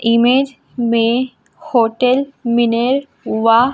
Image में hotel वा।